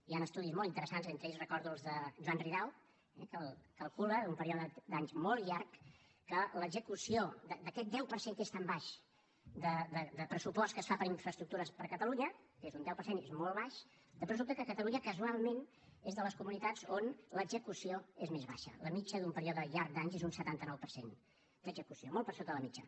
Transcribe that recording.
hi han estudis molt interessants entre ells recordo els de joan ridao que calcula en un període d’anys molt llarg que l’execució d’aquest deu per cent que és tan baix de pressupost que es fa per a infraestructures per a catalunya que és un deu per cent i és molt baix després resulta que catalunya casualment és de les comunitats on l’execució és més baixa la mitjana d’un període llarg d’anys és d’un setanta nou per cent d’execució molt per sota de la mitjana